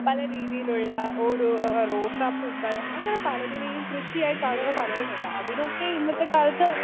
speaker 2 പലരീതിയിലുള്ള ഓരോ റോസാപ്പൂക്കൾ അങ്ങനെ പലതിനേയും കൃഷിയായിക്കാണുന്ന പലരുമുണ്ട് അതിനൊക്കെ ഇന്നത്തെക്കാലത്ത്